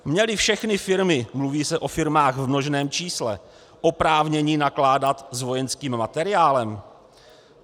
Měly všechny firmy - mluví se o firmách v množném čísle - oprávnění nakládat s vojenským materiálem?